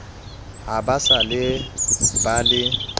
ha ba se ba le